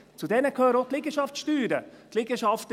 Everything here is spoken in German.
Auch die Liegenschaftssteuern gehören dazu.